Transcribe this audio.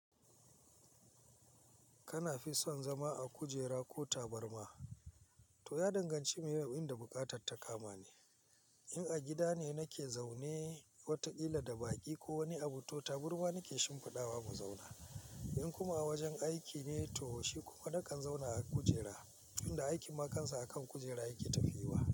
Kana fi son zama a kujera ko tabarma? To ya danganci me abunda bukatatta kama ne. In a gida ne nake zaune watakila da baki ko wani abu to taburma nake shimfiɗawa mu zauna. In kuma a wajen aiki ne to shi kuma nakan zauna a kujera, inda aikin ma kansa akan kujera yake tafiya.